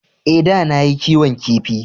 Ee, da na yi kiwon kifi.